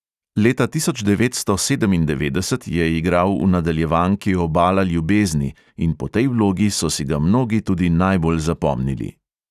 Leta tisoč devetsto sedemindevetdeset je igral v nadaljevanki obala ljubezni in po tej vlogi so si ga mnogi tudi najbolj zapomnili.